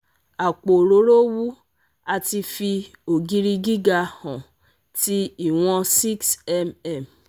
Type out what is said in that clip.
Apo orooro wu ati fi ogiri giga han ti iwon 6mm